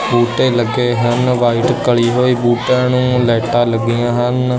ਬੂਟੇ ਲੱਗੇ ਹਨ ਵਾਈਟ ਕਲੀ ਹੋਈ ਬੂਟਿਆਂ ਨੂੰ ਲਾਈਟਾਂ ਲੱਗੀਆਂ ਹਨ।